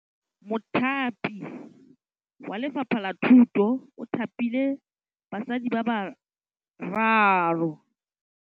Mothapi wa Lefapha la Thutô o thapile basadi ba ba raro.